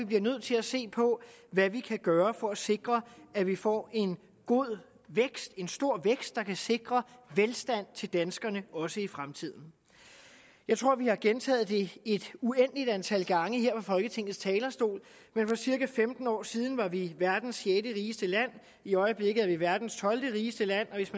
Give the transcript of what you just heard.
bliver nødt til at se på hvad vi kan gøre for at sikre at vi får en god vækst en stor vækst der kan sikre velstand til danskerne også i fremtiden jeg tror vi har gentaget det et uendeligt antal gange her fra folketingets talerstol men for cirka femten år siden var vi verdens sjette rigeste land i øjeblikket er vi verdens tolvte rigeste land